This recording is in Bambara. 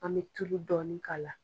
An bɛ tulu dɔɔnin k'a la.